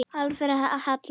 Alfreð Hall.